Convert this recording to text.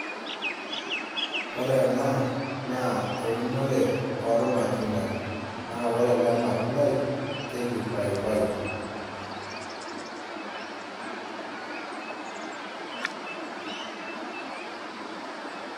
Ore ena eunore oo matunda. Naa ore ele matundai keji paipai